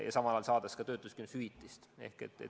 Ja samal ajal saab ka töötuskindlustushüvitist.